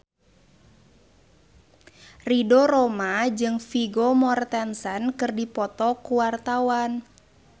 Ridho Roma jeung Vigo Mortensen keur dipoto ku wartawan